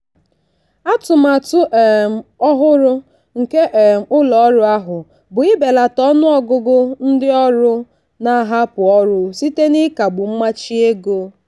atụmatụ um ọhụrụ nke um ụlọ ọrụ ahụ bụ ibelata ọnụọgụgụ ndị ọrụ na-ahapụ ọrụ site n'ịkagbu mmachi ego.